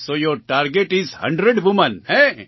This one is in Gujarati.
so your target is 100 women